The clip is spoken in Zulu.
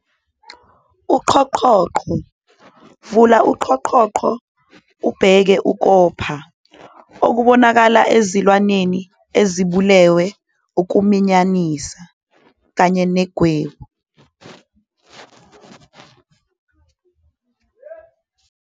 Uqhoqhoqo- Vula uqhoqhoqo bese ubheka ukopha, kubonakala ezilwaneni ezibulawe ngukuqunjelwa, kanye negwebu.